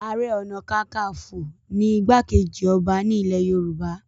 Ààrẹ ọ̀nàkakafo ni igbá-kejì ọba ní ilẹ̀ Yorùbá